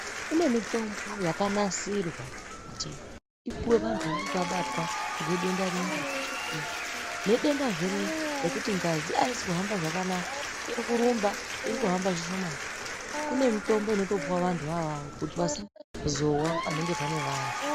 Kune mitombo yakanasirwa kuti ipuwe vantu vanenge vabatwa ngedenda riya reshukera nedendazve riya rekuti ngazi haisi kuhamba zvakanaka iri kurumba iri kuhamba zvishomani. Kune mitombo inotopuwa vantu vona avavo kuti vasazowa panenge pane vantu.